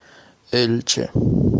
эльче